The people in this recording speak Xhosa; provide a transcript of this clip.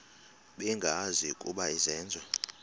bengazi ukuba izenzo